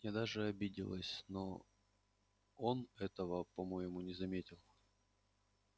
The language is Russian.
я даже обиделась но он этого по-моему не заметил